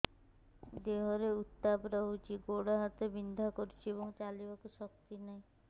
ଦେହରେ ଉତାପ ରହୁଛି ଗୋଡ଼ ହାତ ବିନ୍ଧା କରୁଛି ଏବଂ ଚାଲିବାକୁ ଶକ୍ତି ନାହିଁ